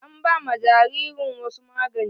An ba ma jaririn wasu magani.